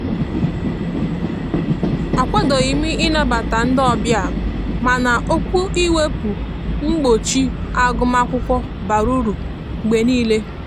a kwadoghim ị nabata ndi ọbia mana okwu iwepu mgbọchi agụm akwụkwo bara ụrụ mgbe nile.